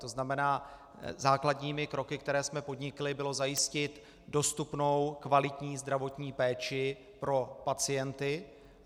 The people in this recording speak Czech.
To znamená, základními kroky, které jsme podnikli, bylo zajistit dostupnou kvalitní zdravotní péči pro pacienty.